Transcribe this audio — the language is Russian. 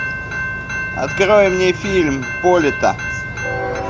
открой мне фильм полета